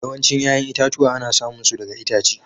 Yawancin 'ƴa'ƴan itatuwa ana samun su daga itace.